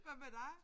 Hvad med dig?